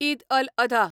ईद अल अधा